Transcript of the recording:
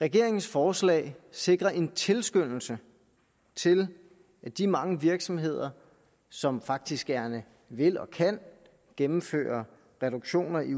regeringens forslag sikrer en tilskyndelse til at de mange virksomheder som faktisk gerne vil og kan gennemføre reduktioner i